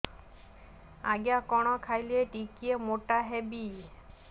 ଆଜ୍ଞା କଣ୍ ଖାଇଲେ ଟିକିଏ ମୋଟା ହେବି